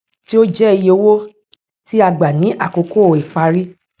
tí ó jẹ iye owó tí a gbà ní àkókò ìparí